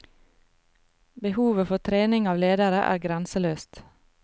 Behovet for trening av ledere er grenseløst.